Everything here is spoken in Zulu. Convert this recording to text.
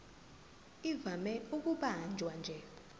ivame ukubanjwa nje